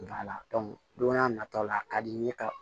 don n'a nata la a ka di n ye ka